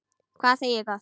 Hvað segi ég gott?